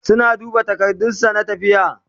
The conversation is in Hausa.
suna duba takardun sa na tafiya